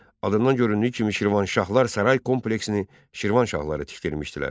Adından göründüyü kimi Şirvanşahlar saray kompleksini Şirvanşahları tikdirmişdilər.